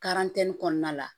kɔnɔna la